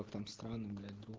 в этом странном